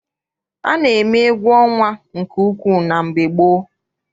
A na-eme egwu ọnwa nke ukwu na mgbe gboo.